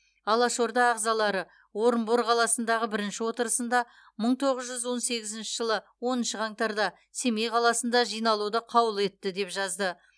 алашорда ағзалары орынбор қаласындағы бірінші отырысында мың тоғыз жүз он сегізінші жылы оныншы қаңтарда семей қаласында жиналуды қаулы етті деп жазды